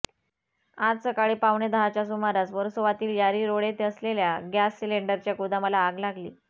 आज सकाळी पावणे दहाच्या सुमारास वर्सोवातील यारी रोड येथे असलेल्या गॅस सिलेंडरच्या गोदामाला आग लागली